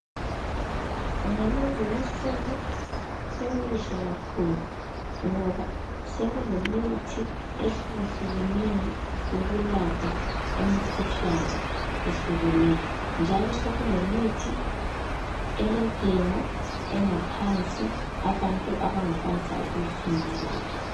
Ngalezi insuku sekukuhle kakhulu ngoba sekulemithi ehluka hlukeneyo eyoku yelapha imikhuhlane eyehlukeneyo njalo sekulemithi elentengo ephansi abantu abangakwanisa ukuyifinyelela